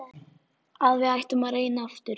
Að við ættum að reyna aftur.